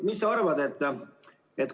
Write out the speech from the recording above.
Mis sa arvad?